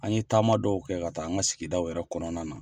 An ye taama dɔw kɛ ka taa an ka sigidaw yɛrɛ kɔnɔna na.